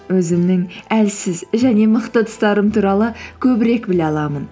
өзімнің әлсіз және мықты тұстарым туралы көбірек біле аламын